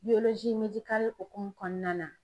hokumu kɔnɔna na.